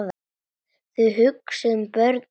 Þið hugsið um börnin.